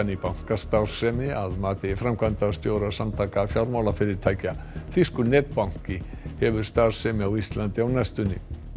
bankastarfsemi að mati framkvæmdastjóra Samtaka fjármálafyrirtækja þýskur netbanki hefur starfsemi á Íslandi á næstunni